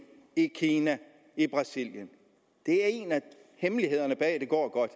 i kina i brasilien det er en af hemmelighederne bag at det går godt